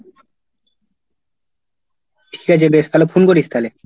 ঠিক আছে বেশ তাহলে phone করিস থালে।